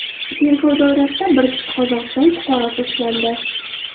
Tergov doirasida bir kishi Qozog‘iston fuqarosi ushlandi.